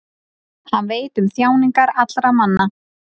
hann veit um þjáningar allra manna